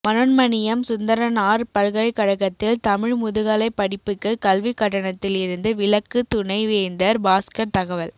மனோன்மணியம் சுந்தரனார் பல்கலைக்கழகத்தில் தமிழ் முதுகலை படிப்புக்கு கல்வி கட்டணத்தில் இருந்து விலக்கு துணை வேந்தர் பாஸ்கர் தகவல்